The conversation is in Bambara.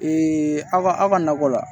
aw ka aw ka nakɔ la